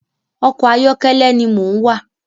Ọkọ ayọkẹlẹ ni mò ń wà